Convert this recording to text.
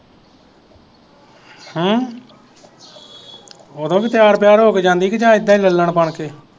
ਹਮ ਓਦੋਂ ਵੀ ਤੇਆਰ ਬੇਆਰ ਹੋ ਕੇ ਜਾਂਦੀ ਜਾ ਏਦਾਂ ਹੀ ਲਲੜ ਬਣ ਕੇ